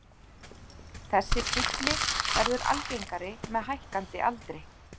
Þessi kvilli verður algengari með hækkandi aldri.